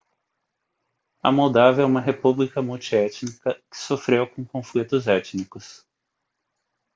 a moldávia é uma república multiétnica que sofreu com conflitos étnicos